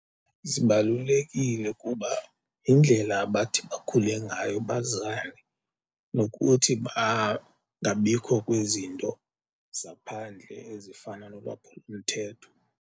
Zibalulekile kuba yindlela abathi bakhule ngayo bazane nokuthi bangabikho kwizinto zaphandle ezifana nolwaphulomthetho.